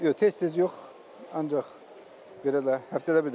Yox, tez-tez yox, ancaq belə də, həftədə bir dəfə.